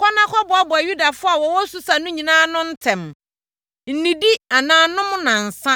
“Kɔ na kɔboaboa Yudafoɔ a wɔwɔ Susa no nyinaa ano ntɛm. Nnidi anaa nnom nnansa,